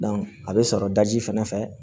a bɛ sɔrɔ daji fɛnɛ fɛ